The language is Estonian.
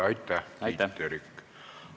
Aitäh, Tiit Terik!